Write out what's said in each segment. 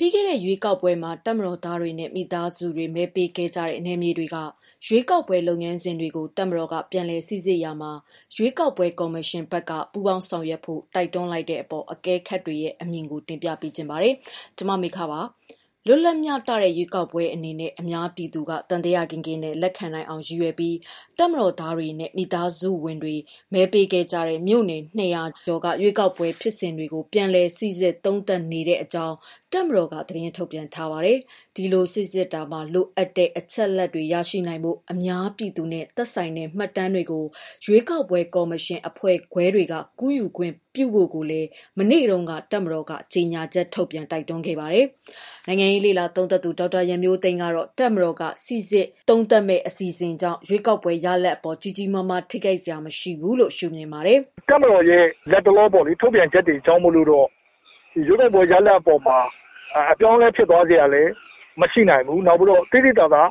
ပြီးခဲ့တဲ့ ရွေးကောက်ပွဲမှာ တပ်မတော်သားတွေနဲ့ မိသားစုတွေ မဲဆန္ဒပေးခဲ့ကြတဲ့ နယ်မြေတွေက ရွေးကောက်ပွဲ လုပ်ငန်းစဉ်တွေကို တပ်မတော်က ပြန်လည်စိစစ်ရာမှာ ရွေးကောက်ပွဲကော်မရှင်က ပူးပေါင်းဆောင်ရွက်ဖို့ တိုက်တွန်းလိုက်တဲ့အပေါ် အကဲခတ်တွေရဲ့ အမြင်တွေကို ပြောပြပါမယ်။ ကျမကတော့ မေခပါ။ လွတ်လပ်မျှတတဲ့ ရွေးကောက်ပွဲအဖြစ် အများပြည်သူက သံသယကင်းကင်းနဲ့ လက်ခံနိုင်အောင် ရည်ရွယ်ပြီး တပ်မတော်သားတွေနဲ့ မိသားစုဝင်တွေ မဲပေးခဲ့ကြတဲ့ မြို့နယ် ၂၁၈ မြို့နယ်က ရွေးကောက်ပွဲ ဖြစ်စဉ်တွေကို ပြန်လည်စိစစ်သုံးသပ်နေကြောင်း တပ်မတော်က သတင်းထုတ်ပြန်ထားပါတယ်။ ဒီလိုစိစစ်ရာမှာ လိုအပ်တဲ့ အချက်အလက်တွေ ရရှိနိုင်ဖို့ အများပြည်သူနဲ့ သက်ဆိုင်တဲ့ မှတ်တမ်းတွေကို ရွေးကောက်ပွဲ ကော်မရှင်အဖွဲ့ခွဲတွေက ကူးယူခွင့်ပြုဖို့လည်း မနေ့တုန်းကပဲ တပ်မတော်က ကြေညာချက်ထုတ်ပြန် တိုက်တွန်းထားတာပါ။ နိုင်ငံရေး လေ့လာသုံးသပ်သူ ဒေါက်တာရန်မျိုးသိမ်းကတော့ တပ်မတော်က စိစစ်သုံးသပ်မယ့် အစီအစဉ်ကြောင့် ရွေးကောက်ပွဲ ရလဒ်အပေါ် ကြီးကြီးမားမား ထိခိုက်စရာ မရှိဘူးလို့ ရှုမြင်ပါတယ်။ "တပ်မတော်ရဲ့ လတ်တလော ထုတ်ပြန်ချက်တွေကြောင့်မို့လို့တော့ ရွေးကောက်ပွဲရလဒ်အပေါ်မှာ အပြောင်းအလဲဖြစ်စရာလည်း မရှိနိုင်ဘူး။ နောက်ပြီးတော့ သိသိသာသာ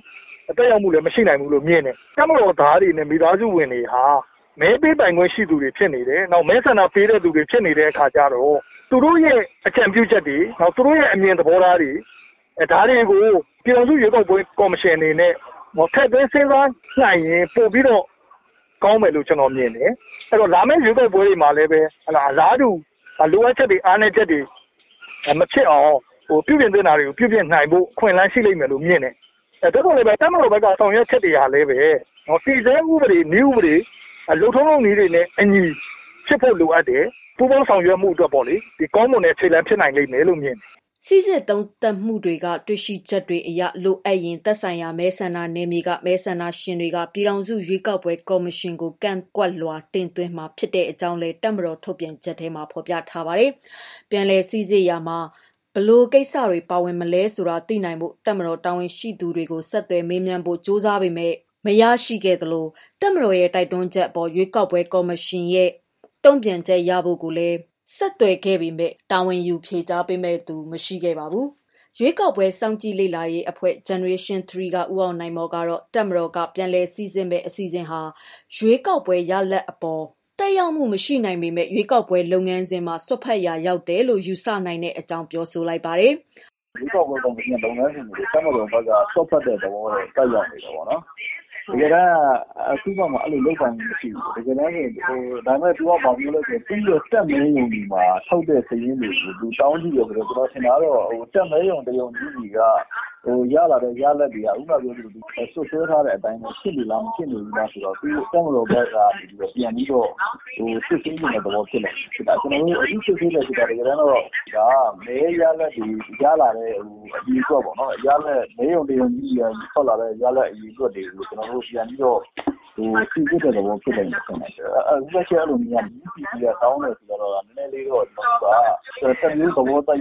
သက်ရောက်မှုလည်း မရှိနိုင်ဘူးလို့မြင်တယ်။ တပ်မတော်သားတွေနဲ့ မိသားစုဝင်တွေဟာ မဲပေးပိုင်ခွင့်ရှိသူတွေဖြစ်နေတယ်။ မဲဆန္ဒပေးတဲ့သူတွေ ဖြစ်နေတဲ့အခါကျတော့ သူတို့ရဲ့ အကြံပြုချက်တွေ၊ သူတို့ရဲ့ အမြင်သဘောထားတွေ ဒါတွေကို ပြည်ထောင်စုရွေးကောက်ပွဲ ကော်မရှင်ဘက်အနေနဲ့ ထည့်သွင်းစဉ်းစားနိုင်ရင် ပိုပြီးတော့ကောင်းမယ်လို့ ကျနော် မြင်တယ်။ အဲဒီတော့ လာမယ့်ရွေးကောက်ပွဲတွေမှာလည်းပဲ အလားတူ လိုအပ်ချက်တွေ၊ အားနည်းချက်တွေ မဖြစ်အောင် ပြုပြင်သင့်တာတွေပြုပြင်နိုင်ဖို့ အခွင့်အလမ်းရှိလိမ့်မယ်လို့မြင်တယ်။ သို့သော်လည်းပဲ တပ်မတော်ဘက်က ဆောင်ရွက်ချက်တွေကလည်းပဲ တည်ဆဲ ဥပဒေ၊ နည်းဥပဒေ လုပ်ထုံးလုပ်နည်းတွေနဲ့ အညီ ဖြစ်ဖို့လိုအပ်တယ်။ ပူးပေါင်း ဆောင်ရွက်မှုအတွက်ပေါ့လေ... ကောင်းမွန်တဲ့ ခြေလမ်းဖြစ်နိုင်လိမ့်မယ်လို့ မြင်တယ်။" စိစစ်သုံးသပ်မှုတွေက တွေ့ရှိချက်တွေအရ လိုအပ်ရင် သက်ဆိုင်ရာ မဲဆန္ဒနယ်မြေက မဲဆန္ဒရှင်တွေက ပြည်ထောင်စု ရွေးကောက်ပွဲ ကော်မရှင်ကို ကန့်ကွက်လွှာ တင်သွင်းမှာ ဖြစ်ကြောင်းလည်း တပ်မတော်ရဲ့ ထုတ်ပြန်ချက်မှာ ဖော်ပြထားပါတယ်။ ပြန်လည်စိစစ်ရာမှာ ဘယ်လို ကိစ္စတွေ ပါဝင်မလဲဆိုတာ သိနိုင်ဖို့ တပ်မတော် တာဝန်ရှိသူတွေကို ဆက်သွယ်မေးမြန်းဖို့ ကြိုးစားပေမဲ့ မရခဲ့သလို၊ တပ်မတော်ရဲ့ တိုက်တွန်းချက်အပေါ် ရွေးကောက်ပွဲ ကော်မရှင်ရဲ့ တုံ့ပြန်ချက်ရဖို့ကိုလည်း ဆက်သွယ်ခဲ့ပေမဲ့ တာဝန်ယူ ဖြေကြားမယ့်သူ မရှိခဲ့ပါဘူး။ ရွေးကောက်ပွဲစောင့်ကြည့်လေ့လာရေးအဖွဲ့ Generation Tree က ဦးအောင်နိုင်မော်ကတော့ တပ်မတော်က ပြန်လည်စိစစ်မယ့် အစီအစဉ်ဟာ ရွေးကောက်ပွဲရလဒ်အပေါ် သက်ရောက်မှု မရှိနိုင်ပေမဲ့လည်း ရွေးကောက်ပွဲ လုပ်ငန်းစဉ်မှာ စွက်ဖက်ရာရောက်တယ်လို့ ယူဆနိုင်ကြောင်း ပြောပါတယ်။ "ရွေးကောက်ပွဲ ကော်မရှင်ရဲ့ လုပ်ငန်းစဉ်တွေကို တပ်မတော်ဘက် စွက်ဖက်တဲ့ သဘောတော့ သက်ရောက်နေတယ်ပေါ့နော်။ တကယ်တမ်းက သူ့ဘက်မှာ အဲဒီလို လုပ်ပိုင်ခွင့်မရှိဘူး။ ဒါပေမဲ့ တပ်မဲရုံတွေမှာ ထုတ်တဲ့ စာရင်းကို တောင်းကြည့်ရုံကကျတော့ ကျနော်ထင်တာကတော့ တပ်မဲရုံ တရုံချင်းစီက ရလာတဲ့ ရလဒ်တွေက ခုနပြောသလို စွပ်စွဲထားတဲ့အတိုင်း ဖြစ်နေလား၊ ဖြစ်မနေဘူးလားဆိုတာကို တပ်မတော်ဘက်ကနေ ပြန်ပြီးတော့ စစ်ဆေးချင်တဲ့ သဘောလို့ ထင်ပါတယ်။ စစ်ဆေးမယ်ဆိုတာ တကယ်တမ်းတော့ မဲရလဒ်တွေ၊ ရလာတဲ့ အရေအတွက် မဲရုံတခုချင်းဆီကနေ ထွက်လာတဲ့ ရလဒ်အရေအတွက်တွေကို ပြန်ပြီးတော့ စိစစ်တဲ့သဘောဖြစ်လိမ့်မယ်လို့ ထင်တယ်။ ပူးပေါ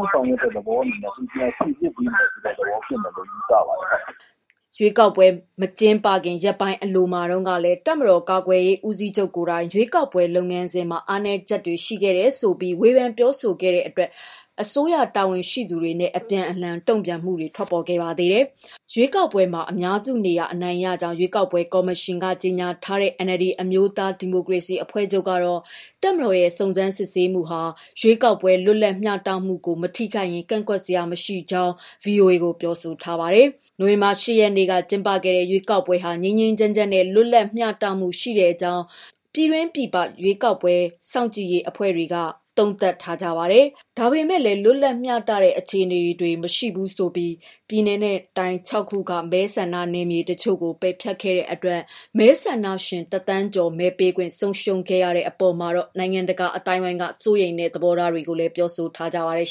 င်းဆောင်ရွက်တဲ့သဘောအနေနဲ့ ပြန်လည်စိစစ်တဲ့ သဘော ဖြစ်မယ်လို့ ယူဆပါတယ်။" ရွေးကောက်ပွဲ မကျင်းပခင် ရက်ပိုင်းအလိုမှာတုန်းကလည်း တပ်တော်ကာကွယ်ရေးဦးစီးချုပ် ကိုယ်တိုင် ရွေးကောက်ပွဲ လုပ်ငန်းစဉ်မှာ အားနည်းချက်တွေ ရှိခဲ့တယ်ဆိုပြီး ဝေဖန်ပြောဆိုခဲ့တဲ့အတွက် အစိုးရတာဝန်ရှိသူတွေနဲ့ အပြန်အလှန် တုံ့ပြန်မှုတွေလည်း ထွက်ပေါ်ခဲ့တာပါ။ ရွေးကောက်ပွဲမှာ အများစုနေရာ အနိုင်ရကြောင်း ရွေးကောက်ပွဲကော်မရှင်က ကြေညာထားတဲ့ NLD အမျိုးသားဒီမိုကရေစီအဖွဲ့ချုပ်ကတော့ တပ်မတော်ရဲ့ စုံစမ်းစစ်ဆေးမှုတွေဟာ ရွေးကောက်ပွဲ လွတ်လပ်မျှတမှုကို မထိခိုက်ရင် ကန့်ကွက်စရာ မရှိကြောင်းလည်း ဗွီအိုအေကို ပြောဆိုထားပါတယ်။ နိုဝင်ဘာလ ၈ ရက်နေ့က ကျင်းပခဲ့တဲ့ ရွေးကောက်ပွဲဟာ ငြိမ်းငြိမ်းချမ်းချမ်းနဲ့ လွတ်လပ်မျှတမှုရှိကြောင်း ပြည်တွင်းပြည်ပ ရွေးကောက်ပွဲ စောင့်ကြည့်ရေး အဖွဲ့တွေက သုံးသပ်ကြပါတယ်။ ဒါပေမဲ့လည်း လွတ်လပ်မျှတတဲ့ အခြေအနေတွေ မရှိဘူးဆိုပြီး ပြည်နယ်နဲ့ တိုင်း ၆ ခုက မဲဆန္ဒနယ်မြေတချို့ကို ပယ်ဖျက်ခဲ့တဲ့အတွက် မဲဆန္ဒရှင် ၁,၀၀၀,၀၀၀ ကျော် မဲပေးခွင့်ဆုံးရှုံးခဲ့ရတဲ့ အပေါ်မှာတော့ နိုင်ငံတကာ အသိုင်းအဝန်းက စိုးရိမ်တဲ့ သဘောထားတွေကိုလည်း ပြောဆိုခဲ့ကြပါတယ်။